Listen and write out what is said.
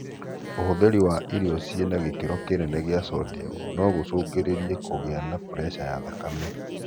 ũhuthĩri wa irio cĩina gĩkĩro kinene gĩa Sodium no gũcungĩrĩrie kũgia na puresha ya thakame.